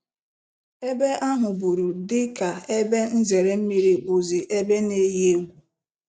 Ebe ahụburu dịka ebe nzere mmiri bụzị ebe n-eyi egwu.